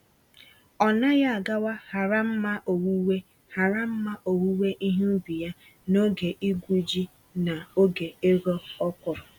Ọnaghị agawa hara mma owuwe hara mma owuwe ihe ubi ya n'oge igwu-ji na oge ịghọ ọkwụrụ.